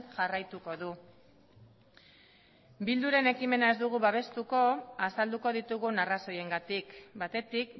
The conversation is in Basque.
jarraituko du bilduren ekimena ez dugu babestuko azalduko ditugun arrazoiengatik batetik